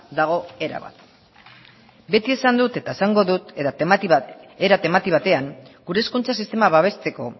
dago erabat beti esan dut eta esango dut era temati batean gure hezkuntza sistema babesteko